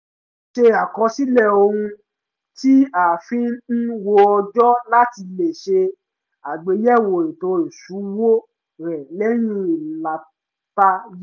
ó ṣe àkọsílẹ̀ ohun tí a fi ń wo ọjọ́ láti lè ṣe àgbéyẹ̀wò ètò iṣúwó rẹ̀ lẹ́yìn ìlàta yìí